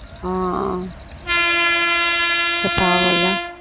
ஆஹ் ச்ச பாவம் இல்ல